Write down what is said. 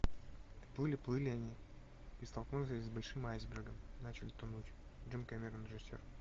плыли плыли они и столкнулись с большим айсбергом начали тонуть джеймс кэмерон режиссер